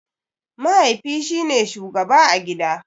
Mahaifi shine shugaba a gida.